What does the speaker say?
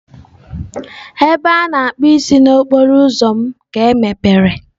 Ebe a na-akpụ isi n'okporo ụzọ m ka emepere.